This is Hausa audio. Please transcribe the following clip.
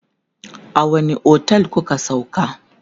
a wani otel kuka sauka?